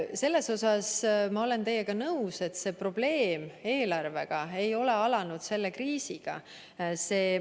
Selles olen ma teiega nõus, et see eelarve probleem ei ole alanud selle kriisiga.